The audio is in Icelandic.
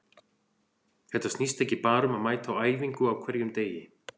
Þetta snýst ekki bara um að mæta á æfingu á hverjum degi.